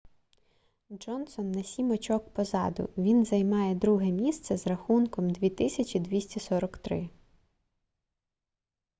джонсон на сім очок позаду він займає друге місце з рахунком 2243